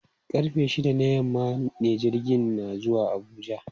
Karfe shida na yamma ne jirgina na zuwa Abuja.